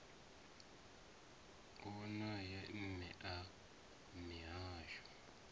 u wone mme a mihasho